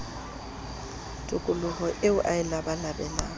tokoloho eo a e labalabelang